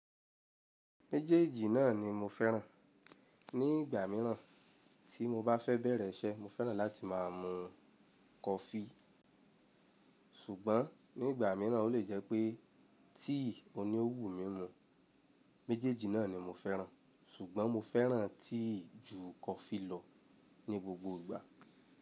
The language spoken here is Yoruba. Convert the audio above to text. Méjèèjì náà ni mo fẹ́ràn. Ni ìgbà míràn tí mo bá fẹ́ bẹ̀rẹ̀ iṣẹ́, mo fẹ́ràn láti máa mú kọfí, ṣùgbọ́n ní ìgbà míràn ó lè jẹ́ pé tíì òní òwù mi mu. Méjèèjì náà ni mo fẹ́ràn, ṣùgbọ́n mo fẹ́ràn tíì ju kọfí lọ ní gbogbo ìgbà.